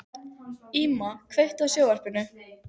Íma, kveiktu á sjónvarpinu.